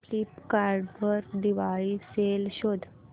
Flipkart वर Diwali sale शोधा